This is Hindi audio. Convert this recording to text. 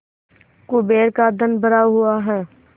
कुबेर का धन भरा हुआ है